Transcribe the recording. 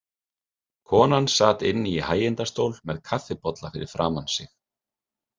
Konan sat inni í hægindastól með kaffibolla fyrir framan sig.